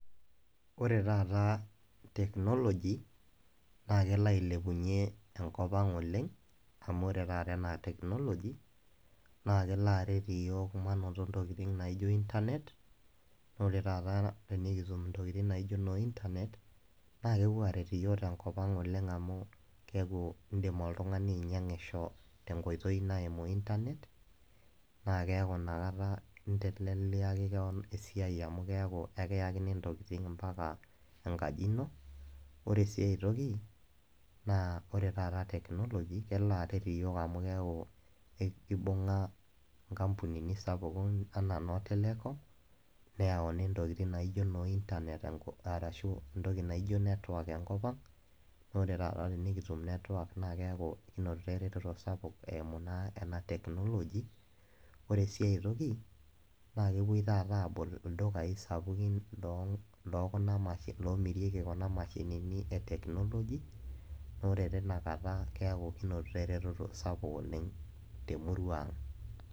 Ore taata technology naa kelo ailepunyie enkop ang oleng amu ore taata ena technology naa kelo aret iyiook manoto ntokitin naijo internet, naa ore taata tenikitum ntokitin naijo inoointernet naa kepuo aret iyiok oleng tenkop ang amu keaku indim oltungani ainyiangisho tenkoitoi naimu internet naa keaku inakata inteleliaki kewon esiai amu keaku ekiyakini ntokitin mpaka enkaji ino . Ore siae toki naa ore taata technology kelo aret iyiok amu keaku kibunga nkampunini sapukin anaa nootelecom neyauni ntokitin naijo noointernet enkop arashu entoki naijo network enkopang naa ore taata tenikitum network naa keaku kinotito ereteto sapuk eimu naa ena technology. Ore siae toki naa kepuoi taata abol ildukai sapukin lokuna ashu lomirieki kuna mashinini etechnology naa ore tina kata keaku kinotito ereteto sapuk oleng temurua ang.